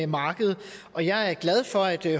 marked og jeg er glad for at det